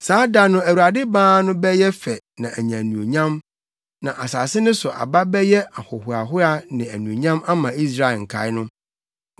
Saa da no Awurade Baa no bɛyɛ fɛ na anya anuonyam, na asase no so aba bɛyɛ ahohoahoa ne anuonyam ama Israel nkae no.